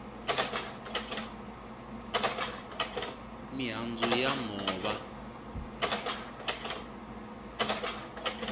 mihandzu ya nhova